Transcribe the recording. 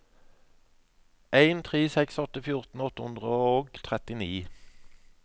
en tre seks åtte fjorten åtte hundre og trettini